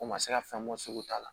O ma se ka fɛn bɔ sugu ta la